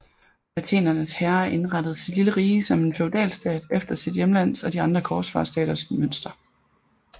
Athenernes herre indrettede sit lille rige som en feudalstat efter sit hjemlands og de andre korsfarerstaters mønster